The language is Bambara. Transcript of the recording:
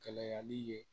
Kɛlɛyali ye